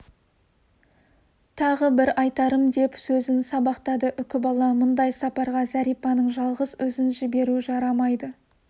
тағы бір айтарым деп сөзін сабақтады үкібала мұндай сапарға зәрипаның жалғыз өзін жіберу жарамайды